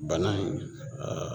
Bana in aa